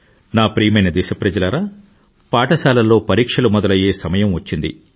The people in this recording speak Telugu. నా ప్రియమైన దేశప్రజలారా పాఠశాలల్లో పరీక్షలు మొదలయ్యే సమయం వచ్చింది